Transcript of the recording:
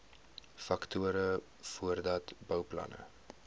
faktore voordat bouplanne